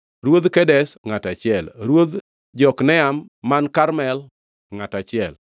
Ruodh Kedesh, ngʼato achiel, Ruodh Jokneam man Karmel, ngʼato achiel,